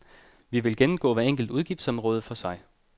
Vi vil gennemgå hvert enkelt udgiftsområde for sig.